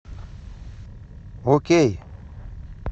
окей